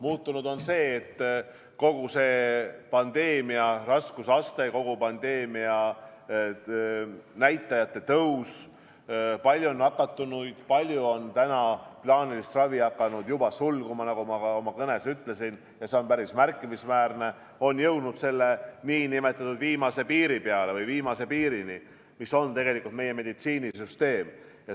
Muutunud on kogu see pandeemia raskusaste, on pandeemia näitajate tõus, palju nakatunuid, plaaniline ravi on hakanud juba sulguma, nagu ma ka oma kõnes ütlesin, ja see kõik on päris märkimisväärne, on jõutud tegelikult n-ö viimase piirini meie meditsiinisüsteemis.